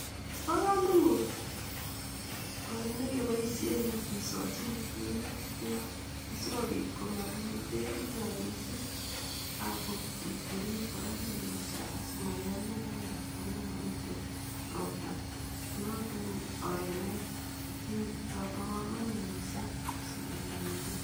Bo komonut oret nekisochin bek minutik bek asikobit matkoe bek chechang mising akobit korib ainoshek matkosoiyo notok kobo kamanut mising